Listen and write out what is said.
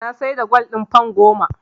Na siyar da gwal ɗina fan goma.